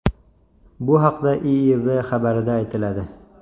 Bu haqda IIV xabarida aytiladi .